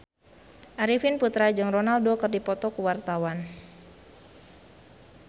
Arifin Putra jeung Ronaldo keur dipoto ku wartawan